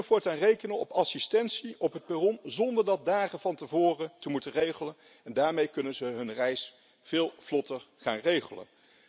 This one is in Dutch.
Zij kunnen voortaan rekenen op assistentie op het perron zonder dat dagen van tevoren te moeten regelen. Daarmee kunnen ze hun reis veel vlotter gaan regelen.